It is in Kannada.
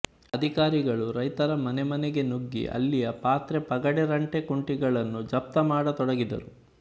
ಅಧಿಕಾರಿಗಳು ರೈತರ ಮನೆಮನೆಗೆ ನುಗ್ಗಿ ಅಲ್ಲಿಯ ಪಾತ್ರೆ ಪಗಡೆರಂಟೆ ಕುಂಟಿಗಳನ್ನು ಜಪ್ತ ಮಾಡತೊಡಗಿದರು